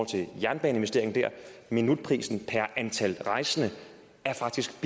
til jernbaneinvesteringer der minutprisen per antal rejsende er faktisk